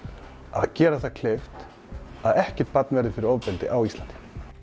að gera það kleift að ekkert barn verði fyrir ofbeldi á Íslandi